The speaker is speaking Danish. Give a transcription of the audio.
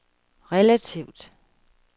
relativt